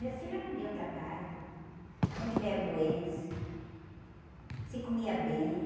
Meus filhos não deram trabalho, não tiveram doença, se comia bem.